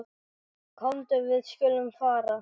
Komdu, við skulum fara.